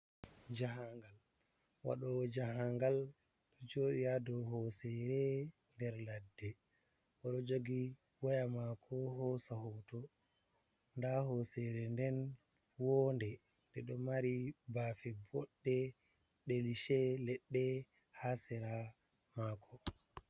Jahangal. waɗowo jahangal ɗo joɗi hadow hosere nder ladde, oɗo jogi waya mako hosa hoto, nda hosere nden wonde nde ɗo mari bafe boɗɗe ndelishe leɗɗe hasera mako.